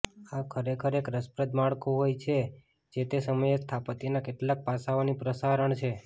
આ ખરેખર એક રસપ્રદ માળખું હોય છે જે તે સમયે સ્થાપત્યના કેટલાક પાસાઓની પ્રસારણ છે